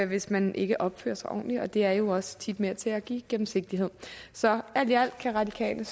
hvis man ikke opfører sig ordentligt og det er jo også tit med til at give gennemsigtighed så alt i alt kan radikale